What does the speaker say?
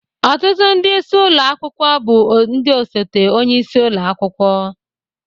Ọtụtụ ndị isi ụlọ akwụkwọ bụ ndị osote onye isi ụlọ akwụkwọ